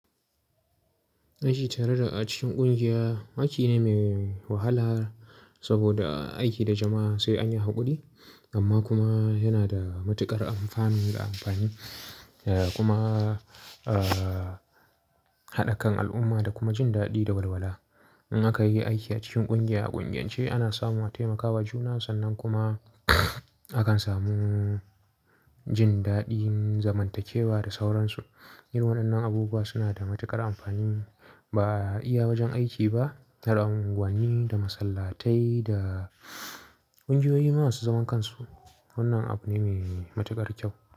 Aiki tare da a cikin ƙungiya, aiki ne mai wahala saboda aiki da jama'a sai an yi haƙuri, amma kuma yana da matuƙar alfanu da amfani, eh kuma, ah, haɗa kan al'umma da kuma jin daɗi da walwala. In aka yi aiki a cikin ƙungiya a ƙungiyance ana samu a taimakawa juna sannan kuma akan samu jin daɗin zamantakewa da sauransu. Yin waɗannan abubuwa suna da matuƙar amfani. Ba iya wajen aiki ba, har unguwanni da masallatai da kungiyoyi masu zaman kansu. Wannan abu ne mai matuƙar kyau.